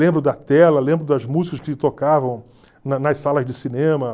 Lembro da tela, lembro das músicas que tocavam na nas salas de cinema.